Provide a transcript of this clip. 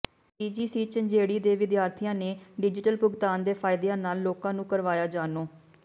CGC Jhanjeri ਦੇ ਵਿਦਿਆਰਥੀਆਂ ਨੇ ਡਿਜ਼ੀਟਲ ਭੁਗਤਾਨ ਦੇ ਫਾਇਦਿਆਂ ਨਾਲ ਲੋਕਾਂ ਨੂੰ ਕਰਵਾਇਆ ਜਾਣੂ